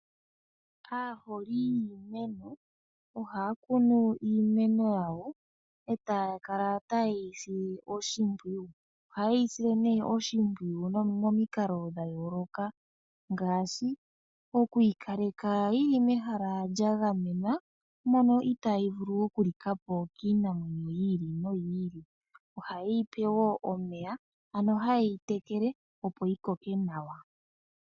Aaholi yiimeno ohaya kunu iimeno yawo etaya kala taye yi sile oshimpwiyu. Ohaye yi sile nee oshimpwiyu momikalo dhayooloka ngaashi okuyi kaleka yili mehala lyagamenwa mono itaayi vulu okulika po kiinamwenyo yi ili noyi ili. Ohaye yipe wo omeya ano haye yi tekele opo yikoke nawa.